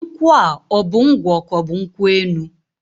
Nkwụa ọbụ ngwọ k'ọbụ nkwụ enu?